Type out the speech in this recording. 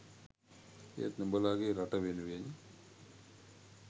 ඒත් නුඹලාගේ රට වෙනුවෙන්